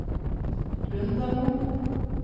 Lundamo